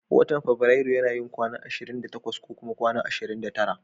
Watan fabirairu yana yin kwana ashirin da takwas ko kuma kwana ashirin da tara.